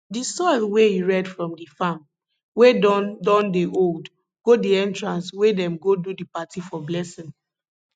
di soil wey e red from di farm wey don don old dey go di entrance wey dem go do di party for blessing